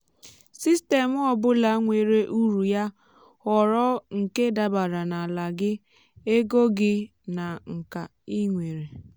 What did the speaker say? sistemụ ọ bụla nwere uru ya. họrọ nke dabara na ala gị ego gị na nka ị nwere.